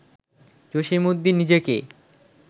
জসীমউদ্দীন নিজেকে